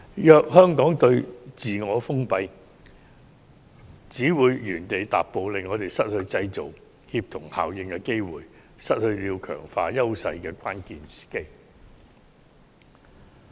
如香港再自我封閉，只會原地踏步，令我們失去製造協同效應的機會，亦失去強化自身優勢的關鍵時機。